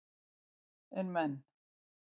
En menn